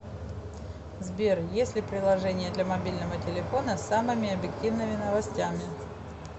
сбер есть ли приложение для мобильного телефона с самыми объективными новостями